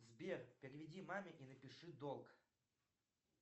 сбер переведи маме и напиши долг